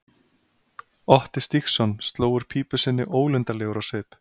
Otti Stígsson sló úr pípu sinni ólundarlegur á svip.